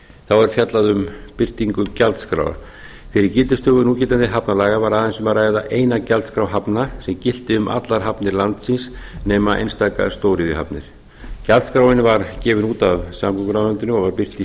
þá er fjallað um birtingu gjaldskrár fyrir gildistöku núgildandi hafnalaga var aðeins um að ræða eina gjaldskrá hafna sem gilti um allar hafnir landsins nema nema einstaka stóriðjuhafnir gjaldskráin var gefin út af samgönguráðuneytinu og birt í